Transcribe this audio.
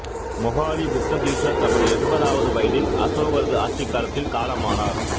மொகாலிபுத்த தீசர் தமது எண்பதாவது வயதில் அசோகரது ஆட்சிக் காலத்தில் காலமானர்